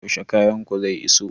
Yaushe kayan ku zai iso?